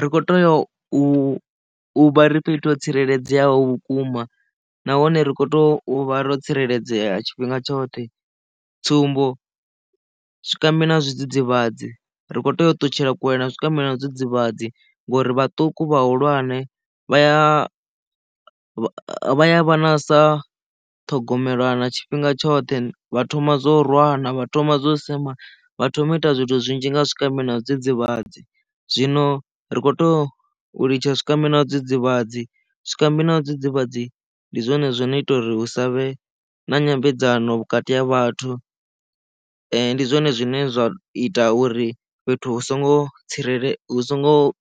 Ri kho tea u vha ri fhethu ho tsireledzeaho vhukuma na hone rikho to vha ro tsireledzea tshifhinga tshoṱhe, tsumbo zwikambi na zwidzidzivhadzi ri kho tea u ṱutshela kule na zwikambi na zwidzidzivhadzi ngori vhaṱuku, vhahulwane vha a vha a vha na sa ṱhogomelwa na tshifhinga tshoṱhe vha thoma zwo rwana vha thoma zwo sema vha thoma u ita zwithu zwinzhi nga zwikambi na zwidzidzivhadzi zwino ri kho tea u litsha zwikambi na zwidzidzivhadzi zwikambi na zwidzidzivhadzi ndi zwone zwine ita uri hu savhe na nyambedzano vhukati ha vhathu ndi zwone zwine zwa ita uri fhethu hu songo tsireledzea hu songo